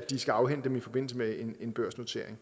de skal afhænde dem i forbindelse med en børsnotering